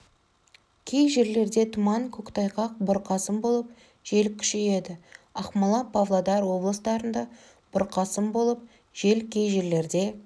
кей жерлерде тұман көктайғақ бұрқасын болып жел күшейеді ақмола павлодар облыстарында бұрқасын болып жел кей жерлерде